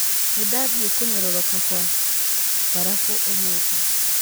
Nĩ ndathire kũnyororoka kwa mbarabu ũmũthĩ.